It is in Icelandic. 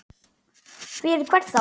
Fyrir hvern þá?